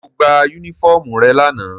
Ṣé ó gba unifọmú rẹ̀ lana?